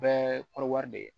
Bɛɛ ko wari de ye